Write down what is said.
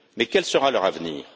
Mais quel sera leur avenir?